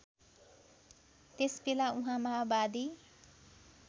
त्यसबेला उहाँ माओवादी